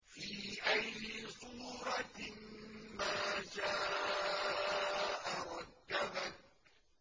فِي أَيِّ صُورَةٍ مَّا شَاءَ رَكَّبَكَ